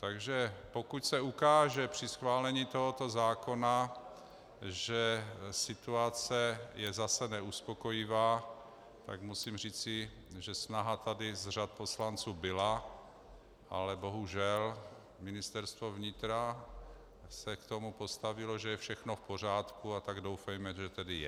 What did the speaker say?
Takže pokud se ukáže při schválení tohoto zákona, že situace je zase neuspokojivá, tak musím říci, že snaha tady z řad poslanců byla, ale bohužel, Ministerstvo vnitra se k tomu postavilo, že je všechno v pořádku, a tak doufejme, že tedy je.